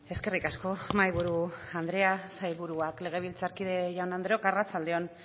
eskerrik asko mahaiburu andrea sailburuak legebiltzarkide jaun andreok arratsalde on